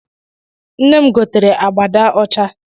Nne m gotere abada ọcha